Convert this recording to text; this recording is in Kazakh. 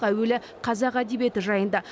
әуелі қазақ әдебиеті жайында